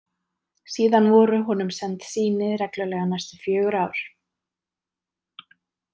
Síðan voru honum send sýni reglulega næstu fjögur ár.